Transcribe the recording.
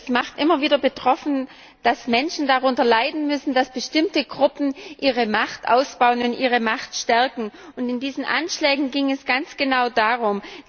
Es macht immer wieder betroffen, dass Menschen darunter leiden müssen, dass bestimmte Gruppen ihre Macht ausbauen und ihre Macht stärken. In diesen Anschlägen ging es ganz genau darum.